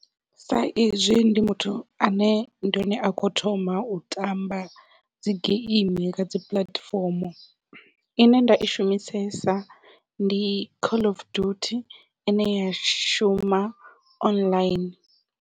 Sa izwi ndi muthu ane ndi hone a kho thoma u tamba dzi geimi kha dzi puḽatifomo ine nda i shumisesa ndi call of duty ine ya shuma online.